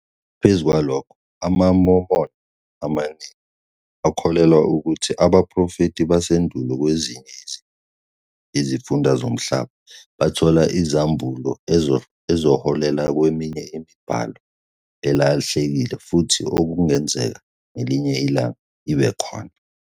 Ngaphezu kwalokho, amaMormon amaningi akholelwa ukuthi abaprofethi basendulo kwezinye izifunda zomhlaba bathola izambulo ezaholela kweminye imibhalo elahlekile futhi okungenzeka, ngelinye ilanga, ibe khona.